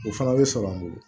O fana bɛ sɔrɔ an bolo